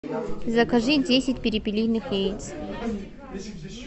закажи десять перепелиных яиц